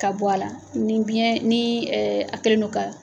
Ka bɔ a la, ni biyɛn nii a kɛlen do ka